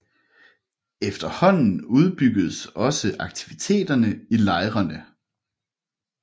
Efterhånden udbyggedes også aktiviteterne i lejrene